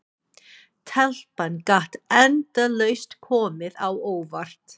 Telpan gat endalaust komið á óvart.